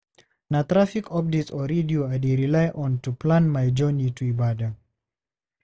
Na traffic updates on radio I dey rely on to plan my journey to Ibadan.